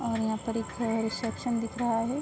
और यहाँ पर एक है रिसेपसन दिख रहा है।